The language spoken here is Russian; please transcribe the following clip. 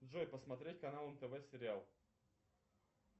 джой посмотреть канал нтв сериал